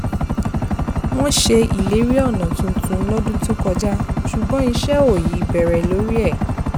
wọ́n ṣe ìlérí ọ̀nà tuntun lọ́dún tó kọjá ṣùgbọ́n iṣẹ́ ò ì bẹ̀rẹ̀ lórí ẹ̀